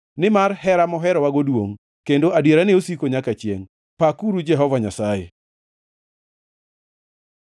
Nimar hera moherowago duongʼ, kendo adierane osiko nyaka chiengʼ. Pakuru Jehova Nyasaye.